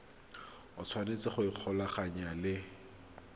o tshwanetse go ikgolaganya le